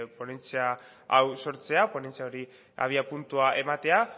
ponentzia hau sortzea ponentzia horri abiapuntua ematea